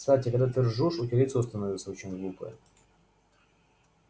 кстати когда ты ржёшь у тебя лицо становится очень глупое